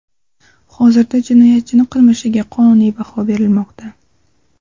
Hozirda jinoyatchining qilmishiga qonuniy baho berilmoqda.